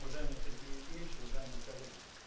уважаемый сергей евгеньевич уважаемые коллеги